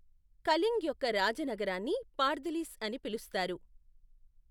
కళింగ్ యొక్క రాజ నగరాన్ని పార్థిలిస్ అని పిలుస్తారు.